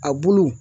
A bulu